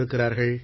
இருக்கிறார்கள்